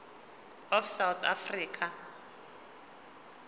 of south africa